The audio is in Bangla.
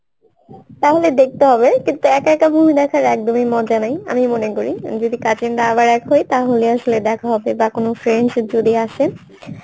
তাহলে দেখতে হবে কিন্তু একা একা movie দেখার একদমই মজা নেই আমি মনে করি যদি cousin রা আবার হই তাহলে আসলে দেখা হবে বা কোনো friends যদি আসে